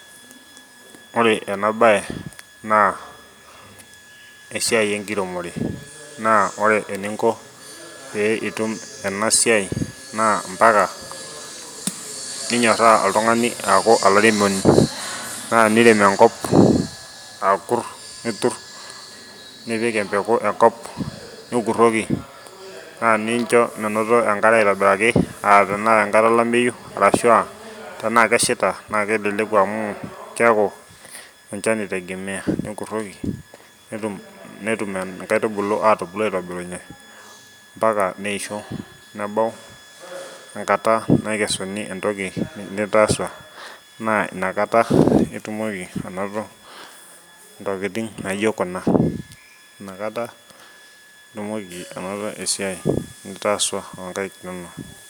Ore ena bae naa esiai ekiremore naa ore eninko pee itum ena siai naa mpaka ninyoraa oltungani aaku olairemoni naa tenirem enkop aakur nitur nipik empeku enkop nikuroki naa nincho menoto enkare aitobiraki naa ata ekata olameyu aashua tenaa keshaita naa kelelku amu keeku enchan itegemea nikoroki netum kaitubulu aitobirunye mpaka neisho, nebau ekata nakesuni etoki nitaasua naa ina kata itumoki anoto tokitin najio kuna ina kata itumoki esiai nitaasua okaik inono.